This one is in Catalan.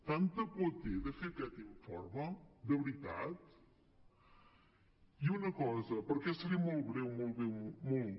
tanta por té de fer aquest informe de veritat i una cosa perquè seré molt breu molt breu molt